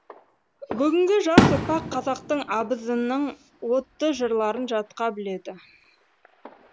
бүгінгі жас ұрпақ қазақтың абызының отты жырларын жатқа біледі